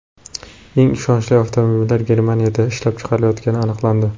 Eng ishonchli avtomobillar Germaniyada ishlab chiqarilayotgani aniqlandi.